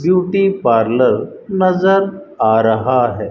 Beauty parlour नजर आ रहा है।